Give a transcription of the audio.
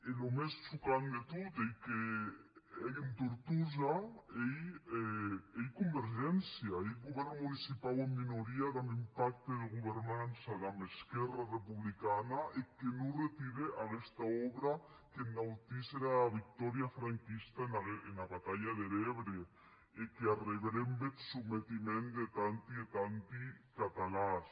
e çò mès chocant de tot ei qu’en tortosa ei convergència ei eth govèrn municipau en minoria damb un pacte de governança damb esquèrra republicana eth que non retire aguesta òbra qu’ennautís era victòria franquista ena batalha der ebre e qu’arrebrembe eth sometiment de tanti e tanti catalans